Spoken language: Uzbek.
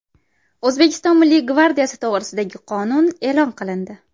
O‘zbekiston Milliy gvardiyasi to‘g‘risidagi qonun e’lon qilindi.